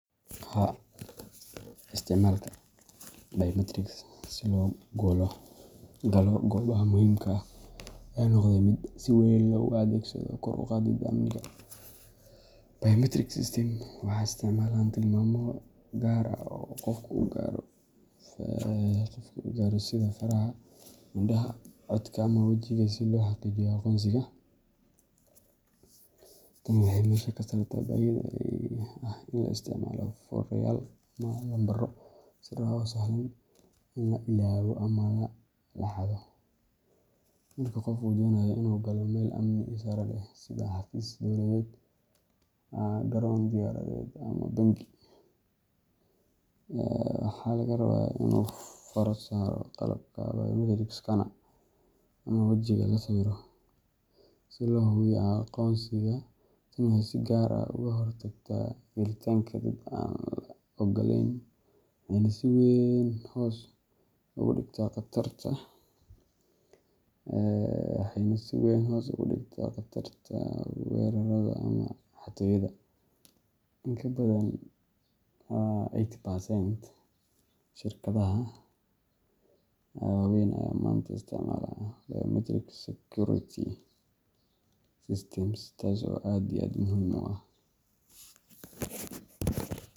Haa, Isticmaalka biometrics si loo galo goobaha muhiimka ah ayaa noqday mid si weyn loogu adeegsado kor u qaadidda amniga. Biometric systems waxay isticmaalaan tilmaamo gaar ah oo qofka u gaara sida faraha, indhaha, codka ama wejiga si loo xaqiijiyo aqoonsigiisa. Tani waxay meesha ka saartaa baahida ah in la isticmaalo furayaal ama lambaro sir ah oo sahlan in la ilaawo ama la xado. Marka qofka uu doonayo inuu galo meel amni sare leh sida xafiis dowladeed, garoon diyaaradeed, ama bangi, waxaa laga rabaa inuu faro saaro qalabka biometric scanner ama wejigiisa la sawiro si loo hubiyo aqoonsiga. Tani waxay si gaar ah uga hortagtaa gelitaanka dad aan la oggolayn waxayna si weyn hoos ugu dhigtaa khatarta weerarrada ama xatooyada. In ka badan eighty percent shirkadaha waaweyn ayaa maanta isticmaala biometric security systems taaso aad iyo aad muhim u ah.